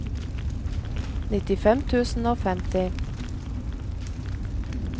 nittifem tusen og femti